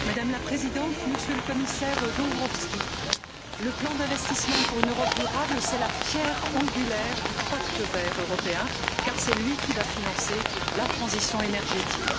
Madame la Présidente, Monsieur le Commissaire Dombrovskis, le plan d'investissement pour une Europe durable, c'est la pierre angulaire du Pacte vert pour l'Europe, car c'est lui qui va financer la transition énergétique.